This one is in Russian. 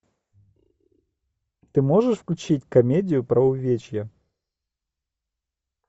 ты можешь включить комедию про увечья